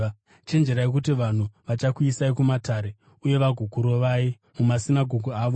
“Chenjerai kuti vanhu vachakuisai kumatare uye vagokurovai mumasinagoge avo.